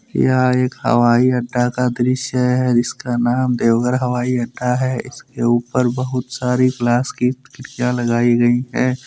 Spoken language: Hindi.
यह एक हवाई अड्डा का दृश्य है इसका नाम देवघर हवाई अड्डा है इसके ऊपर बहुत सारी ग्लास की खिड़कियां लगाई गई हैं।